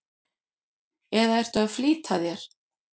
eða ertu að flýta þér?